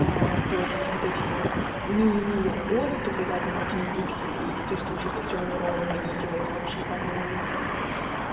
а то есть вот эти вот мили мили отступы да там один пиксель и и то есть уже всё неровный идёт вообще по одному месту